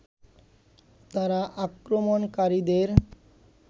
তারা আক্রমণকারীদের